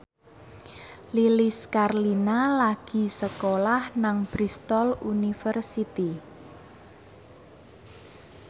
Lilis Karlina lagi sekolah nang Bristol university